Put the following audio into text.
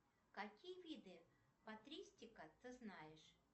какие виды патристика ты знаешь